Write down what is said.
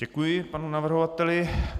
Děkuji panu navrhovateli.